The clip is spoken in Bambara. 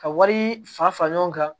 Ka wari fa fara ɲɔgɔn kan